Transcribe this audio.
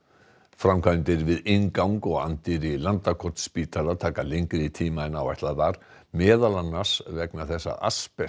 framkvæmdir við inngang og anddyri Landakotsspítala taka lengri tíma en áætlað var meðal annars vegna þess að